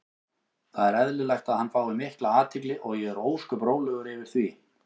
Það er eðlilegt að hann fái mikla athygli og ég er ósköp rólegur yfir því.